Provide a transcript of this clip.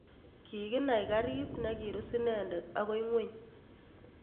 Kikinai gariit ne kirus inendet akoi ing'weny.